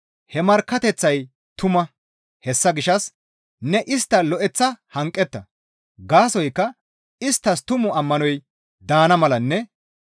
He markkateththay tuma; hessa gishshas ne istta lo7eththa hanqetta; gaasoykka isttas tumu ammanoy daana malanne,